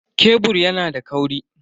Kebur yana da kauri.